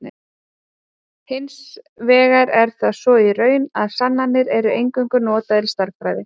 Hins vegar er það svo í raun, að sannanir eru eingöngu notaðar í stærðfræði.